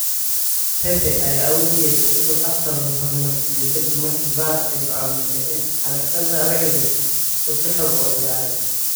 Pepe ayaa awood u yeeshay inuu Arsenal hormariso kadib markii VAR ay go'aamisay in Alexandre Lacazette uu si xun u ciyaaray.